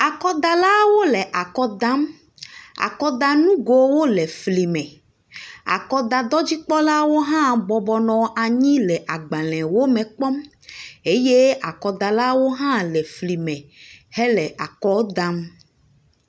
Akɔdalaawo le akɔ dam, akɔdanugowo le fli me, akɔdadɔdzikpɔlawo hã bɔbɔ nɔ anyi le agbalẽwo kpɔm eye akɔdalawo hã le efli me hele akɔ dam.